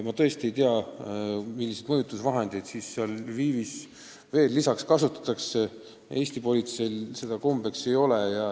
Ma tõesti ei tea, milliseid mõjutusvahendeid Lvivis kasutatakse, Eesti politseil midagi sellist kombeks ei ole.